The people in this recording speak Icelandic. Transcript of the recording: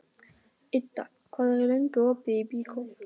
Idda, hvað er lengi opið í Byko?